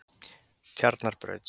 Tjarnarbraut